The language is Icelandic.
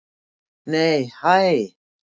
Nei hæ!